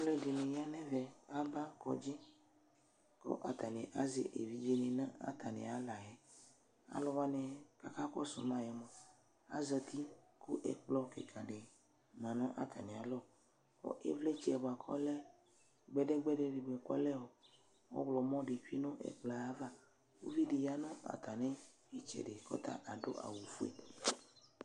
Alʋɛdɩnɩ ya nʋ ɛvɛ Aba kɔdzɩ kʋ atanɩ azɛ evidzenɩ nʋ atamɩ aɣla yɛ Alʋ wanɩ kʋ akakɔsʋ ma yɛ mʋa, azati kʋ ɛkplɔ kɩka dɩ ma nʋ atamɩalɔ kʋ ɩvlɩtsɛ bʋa kʋ ɔlɛ gbɛdɛ gbɛdɛ dɩ kʋ ɔlɛ ɔɣlɔmɔ dɩ tsue nʋ ɛkplɔ yɛ ava Uvi dɩ ya nʋ atamɩ ɩtsɛdɩ kʋ ɔta ta adʋ awʋfue